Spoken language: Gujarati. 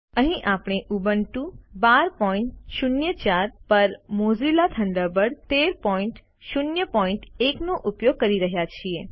અહીં આપણે ઉબુન્ટુ 1204 પર મોઝિલા થન્ડરબર્ડ 1301 નો ઉપયોગ કરી રહ્યા છીએ